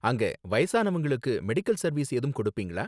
அங்க வயசானவங்களுக்கு medical service ஏதும் கொடுப்பீங்களா?